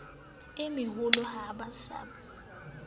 e meholo ha ba sa